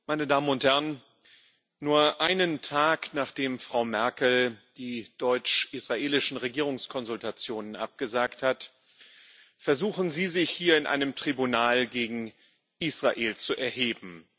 Frau Präsidentin, meine Damen und Herren! Nur einen Tag, nachdem Frau Merkel die deutsch israelischen Regierungskonsultationen abgesagt hat, versuchen Sie, sich hier in einem Tribunal gegen Israel zu erheben.